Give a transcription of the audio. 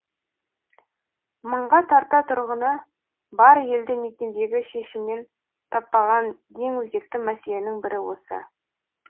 мыңға тарта тұрғыны бар елді мекендегі шешімін таппаған ең өзекті мәселенің бірі осы